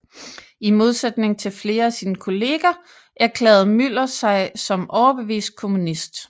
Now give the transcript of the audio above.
I modsætning til flere af sine kolleger erklærede Müller sig som overbevist kommunist